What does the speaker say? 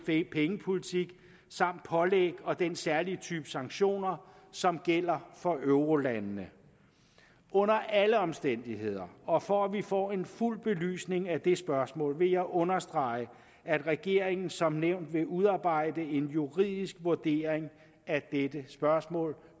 pengepolitik samt pålæg og den særlige type sanktioner som gælder for eurolandene under alle omstændigheder og for at vi får en fuld belysning af det spørgsmål vil jeg understrege at regeringen som nævnt vil udarbejde en juridisk vurdering af dette spørgsmål